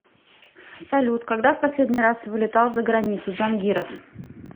салют когда в последний раз вылетал за границу джангиров